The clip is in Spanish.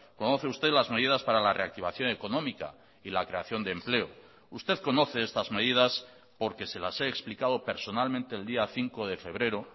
conoce usted las medidas para la reactivación económica y la creación de empleo usted conoce estas medidas porque se las he explicado personalmente el día cinco de febrero